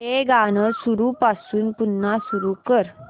हे गाणं सुरूपासून पुन्हा सुरू कर